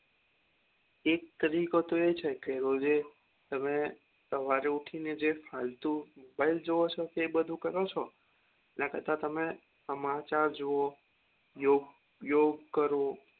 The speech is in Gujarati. એક તરીકો ઈ છે કે તમે સવારે ઉઠીને જે ફાલતું mobile જોવો છે એ બધું કરો છો એના કરતા તમે સમાચાર જોવો યોગ યોગ કરો